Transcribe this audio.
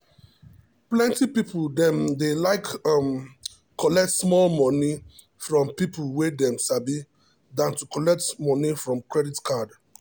plenty people dem dey like um collect small moni um from people wey dem sabi than to collect moni from credit card.